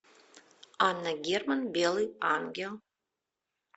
анна герман белый ангел